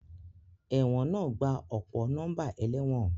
Ẹ̀wọ̀n náà gba ọ̀pọ̀ nọ́mbà ẹlẹ́wọ̀n